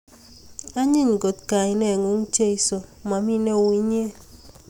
Anyiny kot kainengugn Jesu mami neu inye